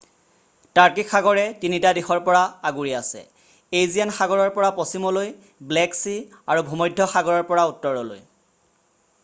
টাৰ্কিক সাগৰে 3 টা দিশৰ পৰা আগুৰি আছে এইজিয়ান সাগৰৰ পৰা পশ্চিমলৈ ব্লেক চি আৰু ভূমধ্য সাগৰৰ পৰা উত্তৰলৈ